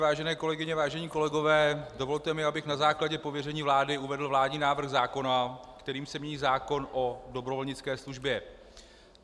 Vážené kolegyně, vážení kolegové, dovolte mi, abych na základě pověření vlády uvedl vládní návrh zákona, kterým se mění zákon o dobrovolnické službě.